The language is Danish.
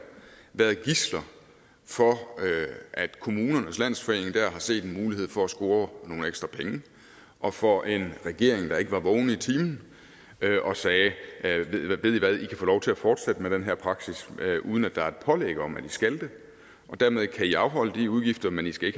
været gidsler for at kommunernes landsforening har set en mulighed for at score nogle ekstra penge og for en regering der ikke var vågen og sagde ved i hvad i kan få lov til at fortsætte med den her praksis uden at der er pålæg om at i skal det og dermed kan i afholde de udgifter men i skal